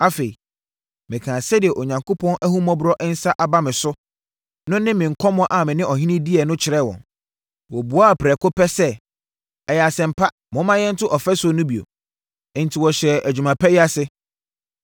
Afei, mekaa sɛdeɛ Onyankopɔn ahummɔborɔ nsa aba me so no ne me nkɔmmɔ a me ne ɔhene diiɛ no kyerɛɛ wɔn. Wɔbuaa prɛko pɛ sɛ, “Ɛyɛ asɛm pa: Momma yɛnto ɔfasuo no bio!” Enti wɔhyɛɛ adwuma pa yi ase.